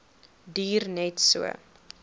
duur net so